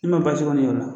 I ma baasi kɔni y'o la